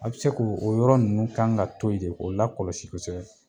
A bi se k'o o yɔrɔ ninnu kan ka to ye ne k'o lakɔlɔsi kosɛbɛ